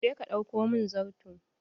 Je ka ɗauko min zarto!